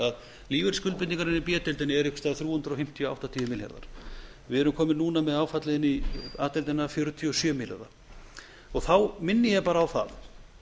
að lífeyrisskuldbindingarnar í b deildinni eru einhvers staðar þrjú hundruð fimmtíu til þrjú hundruð áttatíu milljarðar við erum komin núna með áfallið inn í a deildina fjörutíu og sjö milljarða þá minni ég bara á það